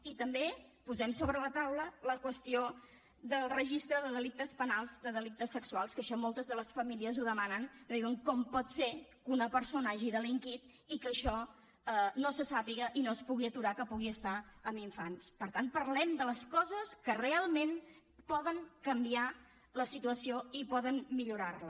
i també posem sobre la taula la qüestió del registre de delictes penals de delictes sexuals que això moltes de les famílies ho demanen que diuen com pot ser que una persona hagi delinquit i que això no se sàpiga i no es pugui aturar que pugui estar amb infants per tant parlem de les coses que realment poden canviar la situació i poden millorar la